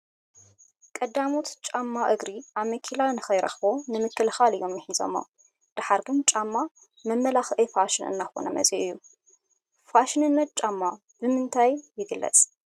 ቀዳሞት ጫማ እግሪ ኣመኬላ ንከይረኽቦ ንምክልኻል እዮም ምሂዞሞ፡፡ ድሓር ግን ጫማ መመላክዒ ፋሽን እናኾነ እዩ መፂኡ፡፡ ፋሽንነት ጫማ ብምንታይ ይግለፅ?